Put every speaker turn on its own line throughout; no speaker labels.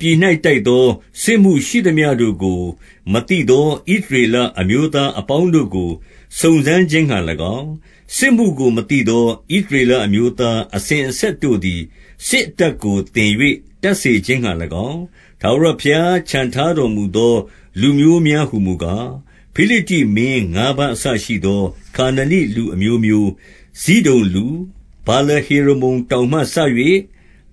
ပြည်၌ တိုက်သော စစ်မှုရှိသမျှတို့ကို မသိသော ဣသရေလအမျိုးသားအပေါင်းတို့ကို စုံစမ်း ခြင်းငှါ၎င်း၊ စစ်မှုကို မသိသော ဣသရေလအမျိုးသားအစဉ်အဆက်တို့သည် စစ်အတတ်ကို သင်၍ တတ်စေခြင်းငှါ၎င်း၊ ထာဝရဘုရား ချန်ထားတော်မူသော လူမျိုးများ ဟူမူကား၊ 3 ဖိလိတ္တိမင်းငါးပါးအစရှိသော ခါနနိလူအမျိုးမျိုး၊ ဇိဒုန်လူ၊ ဗာလဟေရမုန်တောင်မှစ၍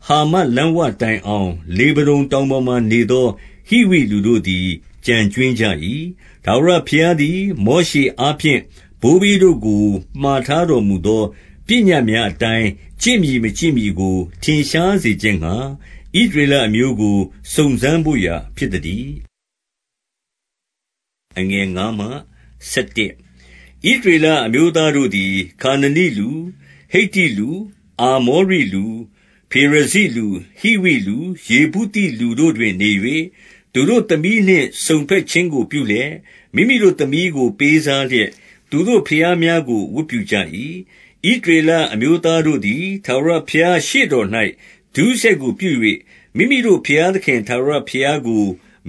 ဟာမတ်လမ်းဝတိုင်အောင် လေဗနုန်တောင်ပေါ်မှာနေသော ဟိဝိလူတို့သည် ကျန်ကြွင်းကြ၏။ 4 ထာဝရဘုရားသည် မောရှေအားဖြင့် ဘိုးဘေးတို့ကို မှာထားတော်မူသော ပညတ်များအတိုင်း ကျင့်မည် မကျင့်မည်ကို ထင်ရှားစေခြင်းငှါ ဣသရေလအမျိုးကို စုံစမ်းဘို့ရာ ဖြစ်သတည်း။ 5 ဣသရေလအမျိုးသားတို့သည် ခါနနိလူ၊ ဟိတ္တိလူ၊ အာမောရိလူ၊ ဖေရဇိလူ၊ ဟိဝိလူ၊ ယေဗုသိလူတို့တွင် နေ၍၊ 6 သူတို့သမီးနှင့် စုံဘက်ခြင်းကို ပြုလျက်၊ မိမိတို့သမီးကို ပေးစားလျက်၊ သူတို့ဘုရားများကို ဝတ်ပြုကြ၏။ 7 ဣသရေလအမျိုးသားတို့သည် ထာဝရဘုရားရှေ့တော်၌ ဒုစရိုက်ကို ပြု၍ မိမိတို့ဘုရားသခင် ထာဝရဘုရားကို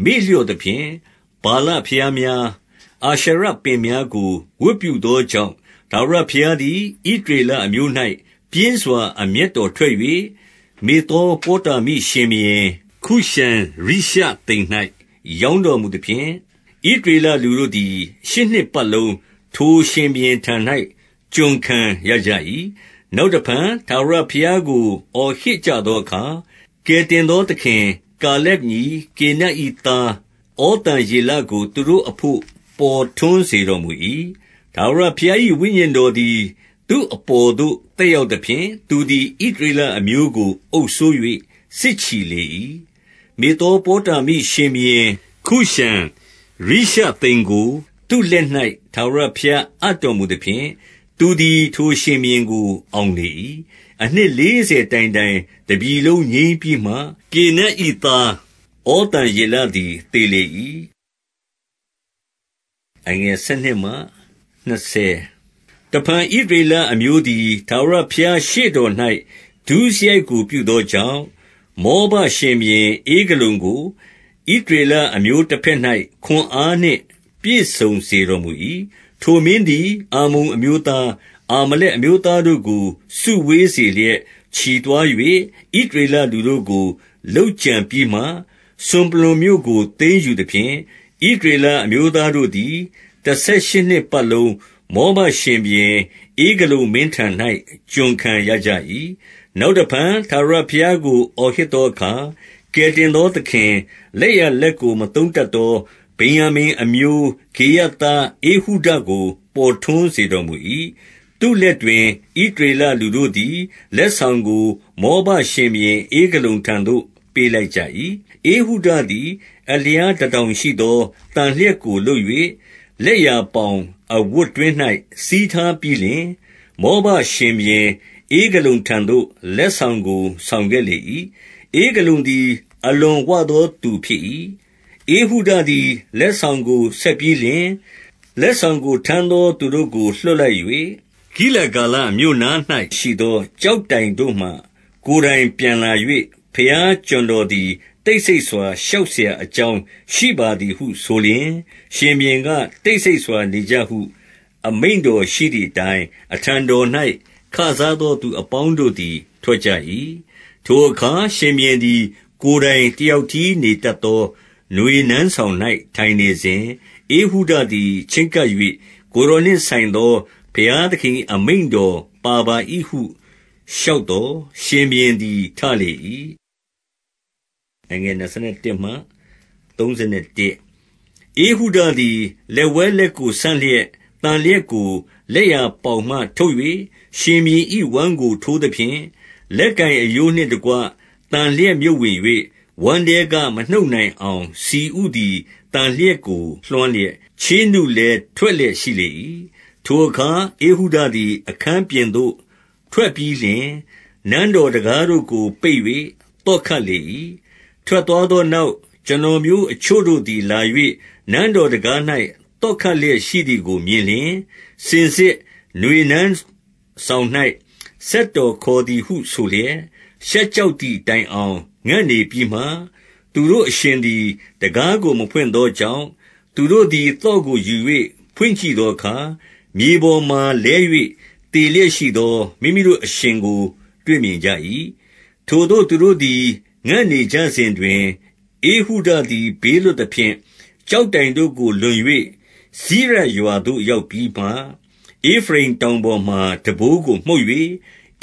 မေ့လျော့သဖြင့်၊ ဗာလဘုရားများ၊ အာရှရပင်များကို ဝတ်ပြုသောကြောင့်၊ 8 ထာဝရဘုရားသည် ဣသရေလအမျိုး၌ ပြင်းစွာ အမျက်တော်ထွက်၍၊ မေသောပေါတာမိရှင်ဘုရင် ခုရှံရှသိမ်၌ ရောင်းတော်မူသဖြင့်၊ ဣသရေလလူတို့သည် ရှစ်နှစ်ပတ်လုံး ထိုရှင်ဘုရင်ထံ၌ ကျွန်ခံရကြ၏။ 9 နောက်တဖန် ထာဝရဘုရားကို အော်ဟစ်ကြသောအခါ၊ ကယ်တင်သောသခင်၊ ကာလက်ညီ၊ ကေနတ်၏သားဩသံယေလကို သူတို့အဘို့ ပေါ်ထွန်းစေတော်မူ၏။ 10 ထာဝရဘုရား၏ ဝိညာဉ်တော်သည် သူ့အပေါ်သို့ သက်ရောက်သဖြင့်၊ သူသည် ဣသရေလအမျိုးကို အုပ်စိုး၍ စစ်ချီလေ၏။ မေသောပေါတာမိရှင်ဘုရင် ခုရှံရိရှသိမ်ကို သူ့လက်၌ ထာဝရဘုရား အပ်တော်မူသဖြင့်၊ သူသည် ထိုရှင်ဘုရင်ကို အောင်လေ၏။ 11 အနှစ်လေးဆယ်တိုင်တိုင် တပြည်လုံးငြိမ်းပြီးမှ၊ ကေနတ်၏သား ဩသံယေလသည် သေလေ၏။ 12 တဖန် ဣသရေလအမျိုးသည် ထာဝရဘုရားရှေ့တော်၌ ဒုစရိုက်ကို ပြုသောကြောင့်၊ မောဘရှင်ဘုရင် ဧဂလုန်ကို ဣသရေလအမျိုးတဘက်၌ ခွန်အားနှင့် ပြည့်စုံစေတော်မူ၏။ 13 ထိုမင်းသည် အမ္မုန်အမျိုးသား၊ အာမလက်အမျိုးသားတို့ကို စုဝေးစေလျက် ချီသွား၍၊ ဣသရေလလူတို့ကို လုပ်ကြံပြီးမှ၊ စွန်ပလွံမြို့ကို သိမ်းယူသဖြင့်၊ 14 ဣသရေလအမျိုးသားတို့သည် တဆယ်ရှစ်နှစ်ပတ်လုံး မောဘရှင်ဘုရင် ဧဂလုန်မင်းထံ၌ ကျွန်ခံရကြ၏။ 15 နောက်တဖန် ထာဝရဘုရားကို အော်ဟစ်သောအခါ၊ ကယ်တင်သော သခင်၊ လက်ျာလက်ကို မသုံးတတ်သော ဗင်္ယာမိန်အမျိုး၊ ဂေရသားဧဟုဒကို ပေါ်ထွန်းစေတော်မူ၏။ သူ့လက်တွင် ဣသရေလလူတို့သည် လက်ဆောင်ကို မောဘရှင်ဘုရင် ဧဂလုန်ထံသို့ ပေးလိုက်ကြ၏။ 16 ဧဟုဒသည် အလျားတတောင်ရှိသော သန်လျက်ကို လုပ်၍ လက်ျာပေါင်အဝတ်တွင်း၌ စည်းထားပြီးလျှင်၊ 17 မောဘရှင်ဘုရင်ဧဂလုန်ထံသို့ လက်ဆောင်ကို ဆောင်ခဲ့လေ၏။ ဧဂလုန်သည် အလွန်ဝသော သူဖြစ်၏။ 18 ဧဟုဒသည် လက်ဆောင်ကို ဆက်ပြီးလျှင်၊ လက်ဆောင်ကို ထမ်းသောသူတို့ကို လွှတ်လိုက်၍၊ 19 ဂိလဂါလမြို့နား၌ရှိသော ကျောက်တိုင်တို့မှ ကိုယ်တိုင်ပြန်လာ၍၊ ဘုရားကျွန်တော်သည် တိတ်ဆိတ်စွာ လျှောက်စရာအကြောင်း ရှိပါသည်ဟု ဆိုလျှင်၊ ရှင်ဘုရင်က၊ တိတ်ဆိတ်စွာ နေကြဟု အမိန့်တော်ရှိ သည်အတိုင်း၊ အထံတော်၌ ခစားသော သူအပေါင်းတို့သည် ထွက်ကြ၏။ 20 ထိုအခါ ရှင်ဘုရင်သည် ကိုယ်တိုင် တယောက်တည်း နေတတ်သော နွေနန်းဆောင်၌ ထိုင်နေစဉ်၊ ဧဟုဒသည် ချဉ်းကပ်၍ ကိုယ်တော်နှင့်ဆိုင်သော ဘုရားသခင်၏ အမိန့်တော်ပါပါ၏ဟု လျှောက်သော်၊ ရှင်ဘုရင်သည် ထလေ၏။ 21 ဧဟုဒသည် လက်ဝဲလက်ကို ဆန့်လျက် သန်လျက်ကို လက်ျာပေါင်မှ ထုတ်၍ ရှင်ဘုရင်၏ ဝမ်းကို ထိုးသဖြင့်၊ 22 လက်ကိုင်အရိုးနှင့်တကွ သန်လျက်မြုပ်ဝင်၍၊ ဝမ်းထဲက မနှုတ်နိုင်အောင် ဆီဥသည် သန်လျက်ကို လွှမ်းလျက်၊ ချေးနုလည်း ထွက်လျက်ရှိလေ၏။ 23 ထိုအခါ ဧဟုဒသည် အခန်းပြင်သို့ ထွက်ပြီးလျှင် နန်းတော်တံခါးတို့ကို ပိတ်၍ သော့ခတ်လေ၏။ 24 ထွက်သွားသောနောက်၊ ကျွန်တော်မျိုးအချို့တို့သည် လာ၍ နန်းတော်တံခါး၌ သော့ခတ်လျက် ရှိသည်ကို မြင်လျှင်၊ စင်စစ် နွေနန်းဆောင်၌ စက်တော်ခေါ်သည်ဟုဆိုလျက်၊ 25 ရှက်ကြောက်သည်တိုင်အောင် ငံ့နေပြီးမှ၊ သူတို့အရှင်သည် တံခါးကို မဖွင့်သောကြောင့်၊ သူတို့သည် သော့ကိုယူ၍ ဖွင့်ကြည့်သောအခါ၊ မြေပေါ်မှာ လဲ၍ သေလျက်ရှိသော မိမိတို့အရှင်ကို တွေ့မြင်ကြ၏။ 26 ထိုသို့ သူတို့သည် ငံ့နေကြစဉ်တွင်၊ ဧဟုဒသည် ဘေးလွတ်သဖြင့်၊ ကျောက်တိုင်တို့ကို လွန်၍ စိရပ်ရွာသို့ ရောက်ပြီးမှ၊ 27 ဧဖရိမ်တောင်ပေါ်မှာ တံပိုးကို မှုတ်၍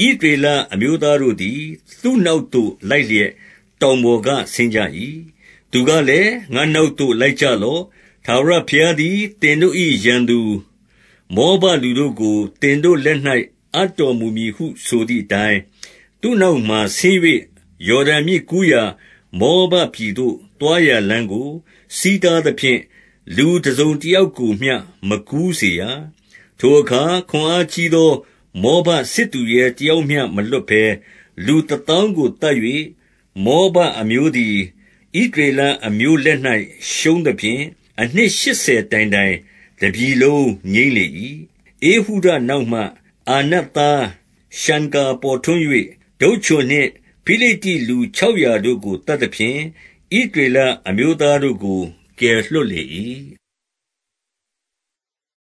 ၊ ဣသရေလအမျိုးသားတို့သည် သူ့နောက်သို့ လိုက်လျက် တောင်ပေါ်က ဆင်းကြ၏။ 28 သူကလည်း ငါ့နောက်သို့ လိုက်ကြလော့။ ထာဝရဘုရားသည် သင်တို့၏ရန်သူမောဘလူတို့ကို သင်တို့လက်၌ အပ်တော်မူမည်ဟု ဆိုသည်အတိုင်း၊ သူ့နောက်မှာ ဆင်း၍ ယော်ဒန်မြစ်ကူးရာ မောဘပြည်သို့ သွားရာလမ်းကို ဆီးတားသဖြင့်၊ လူတစုံတယောက်ကိုမျှ မကူးစေရ။ 29 ထိုအခါ ခွန်အားကြီးသော မောဘစစ်သူရဲတယောက်မျှ မလွတ်ဘဲ၊ လူတသောင်းကို သတ်၍၊ 30 မောဘအမျိုးသည် ဣသရေလအမျိုးလက်၌ ရှုံးသဖြင့်၊ အနှစ်ရှစ်ဆယ်တိုင်တိုင် တပြည်လုံး ငြိမ်းလေ၏။ 31 ဧဟုဒနောက်မှာ အာနတ်သားရှံဂါပေါ်ထွန်း၍၊ တုတ်ချွန်နှင့် ဖိလိတ္တိလူခြောက်ရာတို့ကို သတ်သဖြင့်၊ ဣသရေလအမျိုးသားတို့ကို ကယ်လွှတ်လေ၏။